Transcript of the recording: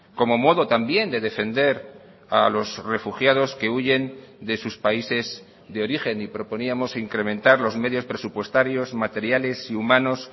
como modo también de defender a los refugiados que huyen de sus países de origen y proponíamos incrementar los medios presupuestarios materiales y humanos